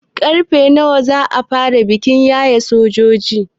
Karfe nawa za a fara bikin yayen sojojin?